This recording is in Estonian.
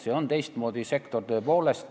See on teistmoodi sektor tõepoolest.